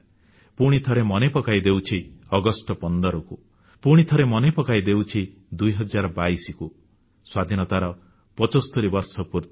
ପୁଣିଥରେ ମନେ ପକାଇ ଦେଉଛି ଅଗଷ୍ଟ 15କୁ ପୁଣିଥରେ ମନେ ପକାଇ ଦେଉଛି 2022 ସ୍ୱାଧୀନତାର 75 ବର୍ଷ ପୂର୍ତ୍ତିକୁ